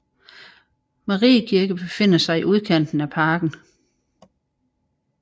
Mariekirke befinder i udkanten af parken